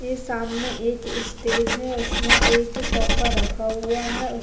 ये सामने एक स्टेज है इसमे एक सोफ़ा रखा हुआ है उस --